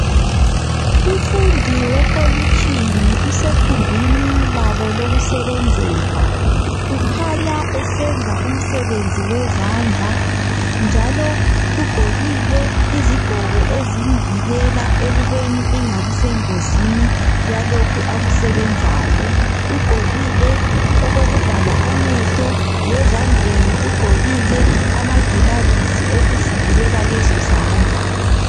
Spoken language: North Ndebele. umfundi wekolitshini usekhumbini labo lokusebenzela ukhanya esenza umsebenzi wezandla njalo ugqokile izigqoko ezimvikela ekubeni engabi sengozini yalokhu akusebenzayo uqgokile okokuvala amehlo lezandleni ugqokile amagilavisi okuzivikela lezo zandla